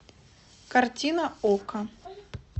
картина окко